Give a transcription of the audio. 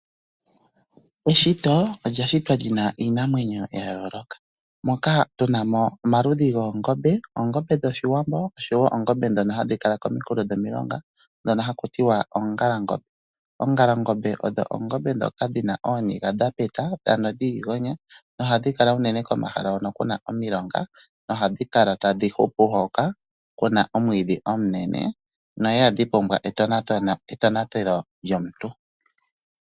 Eshito olya shitwa lyina iinamwenyo ya yooloka moka tuna mo omaludhi goongombe, oongombe dhoshiwambo oshowo oongombe ndhono hadhi kala kominkulo dhomilonga ndhono haku tiwa oongalangombe. Oongalangombe odho oongombe ndhoka dhina ooniga dha peta, ano dhiigonya, nohadhi kala unene komahala hono kuna omilonga, nohadhi kala tadhi hupu hoka, kuna omwiidhi omunene, no ihadhi pumbwa etonatelo lyomuntu.